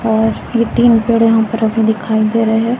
और ये तीन पेड़ यहां पर रंगे दिखाई दे रहे--